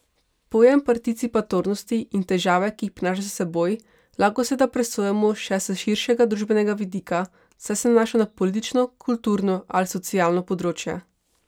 Pojem participatornosti in težave, ki jih prinaša s seboj, lahko seveda presojamo še s širšega družbenega vidika, saj se nanaša na politično, kulturno ali socialno področje.